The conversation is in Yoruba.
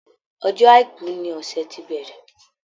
Ọjọ́ àìkú ní ọsẹ ti bẹrẹ.